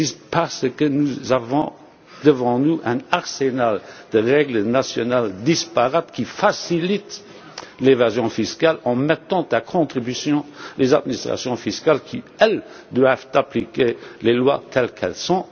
Parce que nous avons devant nous un arsenal de règles nationales disparates, qui facilite l'évasion fiscale en mettant à contribution les administrations fiscales qui, elles, doivent appliquer les lois telles qu'elles sont.